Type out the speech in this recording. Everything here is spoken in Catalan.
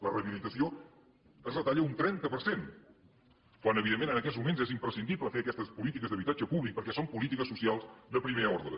la rehabilitació es retalla un trenta per cent quan evidentment en aquests moments és imprescindible fer aquestes polítiques d’habitatge públic perquè són polítiques socials de primer ordre